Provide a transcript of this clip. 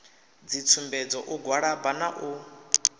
dzitsumbedzo u gwalaba na u